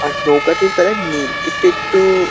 আর নৌকাটির কালার নী- এটা একটু --